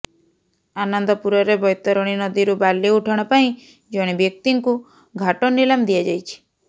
ଆନନ୍ଦପୁରରେ ବ୘ତରଣୀ ନଦୀରୁ ବାଲି ଉଠାଣ ପାଇଁ ଜଣେ ବ୍ୟକ୍ତିଙ୍କୁ ଘାଟ ନିଲାମ ଦିଆଯାଇଛି